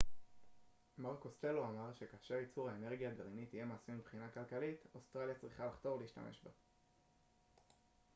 מר קוסטלו אמר שכאשר ייצור האנרגיה הגרעינית יהיה מעשי מבחינה כלכלית אוסטרליה צריכה לחתור להשתמש בה